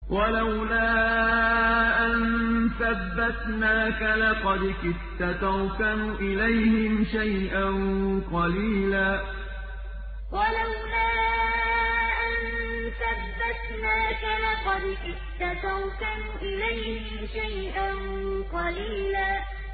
وَلَوْلَا أَن ثَبَّتْنَاكَ لَقَدْ كِدتَّ تَرْكَنُ إِلَيْهِمْ شَيْئًا قَلِيلًا وَلَوْلَا أَن ثَبَّتْنَاكَ لَقَدْ كِدتَّ تَرْكَنُ إِلَيْهِمْ شَيْئًا قَلِيلًا